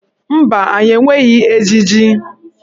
Mba, anyị enweghị ejiji.